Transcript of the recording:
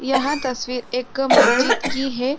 यह तस्वीर एक मस्ज़िद की है।